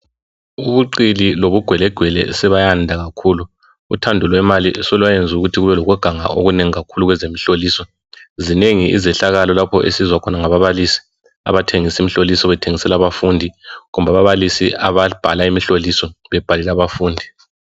Ubuqili lobugwelegwe sebayanda kakhulu ,uthando lwemali solwayenza ukuthi kubelokuganga okunengi kakhulu kwezemhloliso. Zinengi izehlakalo lapho esizwa khona ngababalisi abathengisa imihloliso bethengisela abafundi kumbe ababalisi ababhala imihloliso bebhalela abafundi.